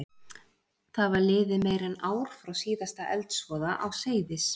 Það var liðið meira en ár frá síðasta eldsvoða á Seyðis